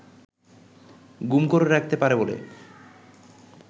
গুম করে রাখতে পারে বলে